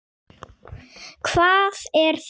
Hvað er þetta?